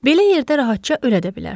Belə yerdə rahatca ölə də bilərsən.